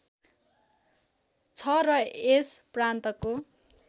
छ र यस प्रान्तको